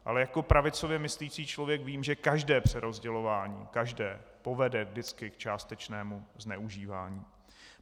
Ale jako pravicově myslící člověk vím, že každé přerozdělování, každé , povede vždycky k částečnému zneužívání.